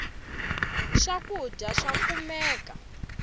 swakudya swa kumeka